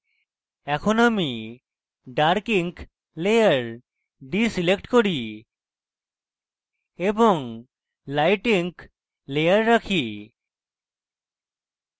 এখন আমি dark ink layer ডীselect করি এবং light ink layer রাখি